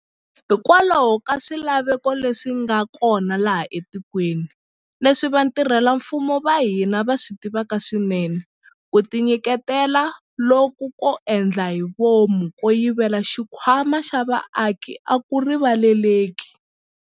Hikokwalaho ka swilaveko leswi nga kona laha etikweni, leswi vatirhela mfumo va hina va swi tivaka swinene, ku tinyiketela loku ko endla hi vomu ko yivela xikhwama xa vaaki a ku rivaleleki.